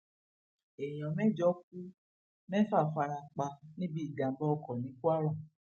èèyàn mẹjọ ku mẹfà fara pa níbi ìjàmbá ọkọ ní kwara